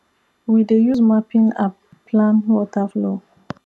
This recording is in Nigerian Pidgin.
we dey use mapping app plan water flow